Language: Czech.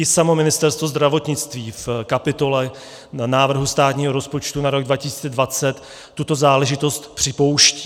I samo Ministerstvo zdravotnictví v kapitole návrhu státního rozpočtu na rok 2020 tuto záležitost připouští.